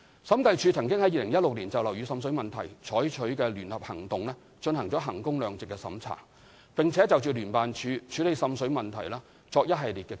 審計署曾於2016年就樓宇滲水問題採取的聯合行動進行衡工量值審查，並就聯辦處處理滲水問題作出一系列建議。